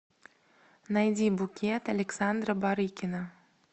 найди букет александра барыкина